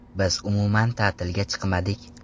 Biz umuman ta’tilga chiqmadik.